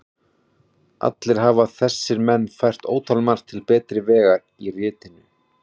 Allir hafa þessir menn fært ótalmargt til betri vegar í ritinu.